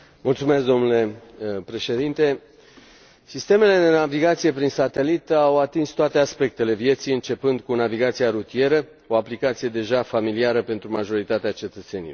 Domnule președinte, sistemele de navigație prin satelit au atins toate aspectele vieții, începând cu navigația rutieră, o aplicație deja familiară pentru majoritatea cetățenilor.